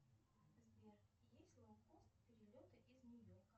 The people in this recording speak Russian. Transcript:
сбер есть лоукост перелеты из нью йорка